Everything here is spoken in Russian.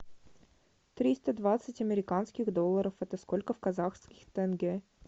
триста двадцать американских долларов это сколько в казахских тенге